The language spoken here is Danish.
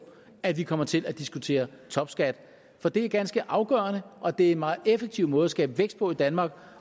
at vi kommer til at diskutere topskat for det er ganske afgørende og det er en meget effektiv måde at skabe vækst på i danmark